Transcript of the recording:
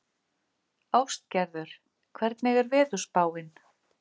Ástgerður, hvernig er veðurspáin?